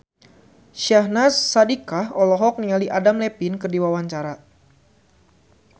Syahnaz Sadiqah olohok ningali Adam Levine keur diwawancara